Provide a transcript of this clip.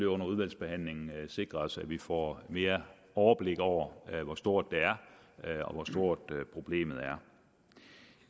under udvalgsbehandlingen sikre os at vi får mere overblik over hvor stort det er og hvor stort problemet er